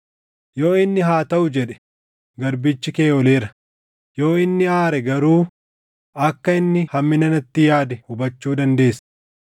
Yoo inni, ‘Haa taʼu’ jedhe, garbichi kee ooleera; yoo inni aare garuu akka inni hammina natti yaade hubachuu dandeessa.